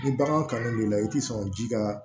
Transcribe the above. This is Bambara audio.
Ni bagan kanu b'i la i ti sɔn ka ji ka